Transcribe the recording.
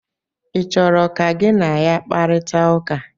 ị chọrọ ka gị na ya kparịta ụka?